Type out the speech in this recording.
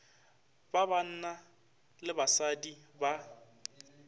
ba banna le basadi ba